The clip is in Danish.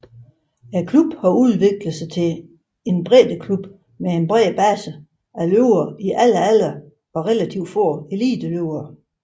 Klubben har udviklet sig til en breddeklub med en bred base af løbere i alle aldre og relativt få eliteløbere